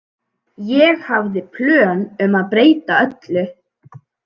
Ég hafði plön um að breyta öllu.